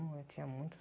Hum eu tinha muitos...